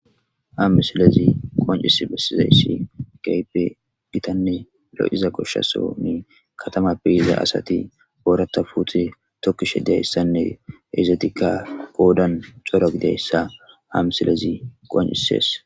amisilezi qoncis bessizayssi gaype gitanne lo7iza goshshasoni katama beiza asati boorata puuti tokkishe diayssanne ezetika boodan coro gidayssa amisilezi qoncisees